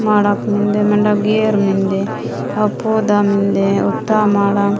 माडाफ मिंडे मंदा गेर मिंडे अफूदा मुंडे उत्था माडा --